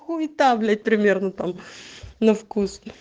хуета блядь примерно там на вкус